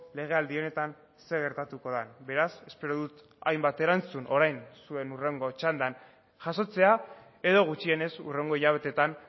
legealdi honetan zer gertatuko den beraz espero dut hainbat erantzun orain zuen hurrengo txandan jasotzea edo gutxienez hurrengo hilabeteetan